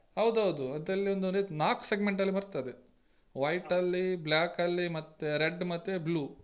ಹೌದೌದು ಅದ್ರಲ್ಲಿ ಒಂದು ರೀತಿ ನಾಕ್ segment ಅಲ್ಲಿ ಬರ್ತದೆ white ಅಲ್ಲಿ black ಅಲ್ಲಿ ಮತ್ತೆ red ಮತ್ತೆ blue .